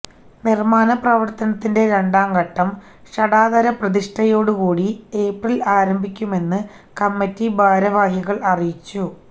നിർമ്മാണ പ്രവർത്തനത്തിന്റെ രണ്ടാംഘട്ടം ഷഡാധരപ്രതിഷ്ഠയോടുകൂടി ഏപ്രിൽ ആരംഭിക്കുമെന്ന് കമ്മിറ്റി ഭാരവാഹികൾ അറിയിച്ചു